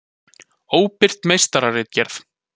Óbirt meistararitgerð.